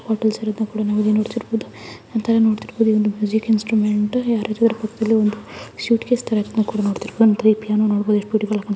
hotels ಇರೋದನ್ನಕೂಡ ನಾವಿಲ್ಲಿ ನೋಡ್ತಿರಬಹುದು ಒಂತರ ನೋಡ್ತಿರಬಹುದು ಒಂದು ಮ್ಯೂಸಿಕ್ ಇನ್ಸ್ಟ್ರುಮೆಂಟ್ ಯಾರ್ದಾದ್ರೂ ಪಕ್ಕದಲ್ಲಿ ಒಂದು ಸೂಟ್ಕೇಸ್ ತರ ಇದ್ನ ಕೂಡ ನೋಡ್ತಿರಬಹುದು